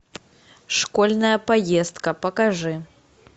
школьная поездка покажи